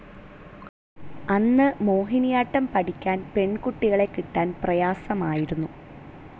അന്നു മോഹിനിയാട്ടം പഠിക്കാൻ പെൺകുട്ടികളെ കിട്ടാൻ പ്രയാസമായിരുന്നു.